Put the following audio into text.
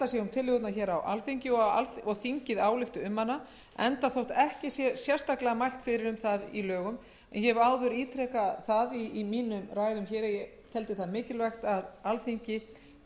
tillögurnar hér á alþingi og að þingið álykti um hana enda þótt ekki sé sérstaklega mælt fyrir um það í lögum tillögur íslenskrar málnefndar voru kynntar í hátíðarsal háskóla íslands